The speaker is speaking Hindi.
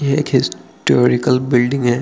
ये एक हिस्ट टोरिकाल बिल्डिंग है।